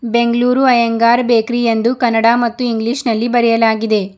Bengaluru Iyengar bakery ಎಂದು ಕನ್ನಡ ಮತ್ತು English ನಲ್ಲಿ ಬರೆಯಲಾಗಿದೆ.